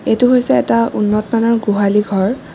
এইটো হৈছে এটা উন্নতমানৰ গোহালি ঘৰ।